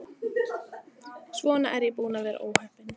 Svona er ég búin að vera óheppin.